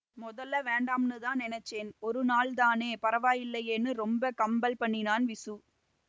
மொதல்லே வேண்டாம்னுதான் நெனைச்சேன் ஒரு நாளுதானே பரவாயில்லேன்னு ரொம்ப கம்பல் பண்ணினான் விசு